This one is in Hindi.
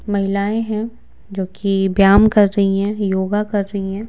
महिलाएं हैं जो कि व्यायाम कर रही हैं योगा कर रही हैं।